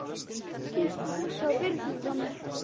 Kysstu Bjössa og Birnu frá mér.